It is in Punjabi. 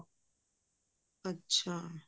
ਅੱਛਾ